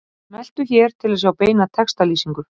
Smelltu hér til að sjá beina textalýsingu